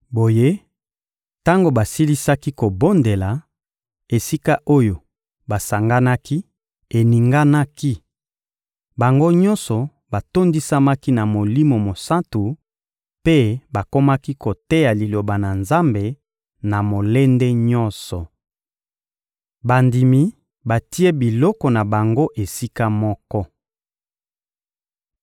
Boye, tango basilisaki kobondela, esika oyo basanganaki eninganaki; bango nyonso batondisamaki na Molimo Mosantu mpe bakomaki koteya Liloba na Nzambe na molende nyonso. Bandimi batie biloko na bango esika moko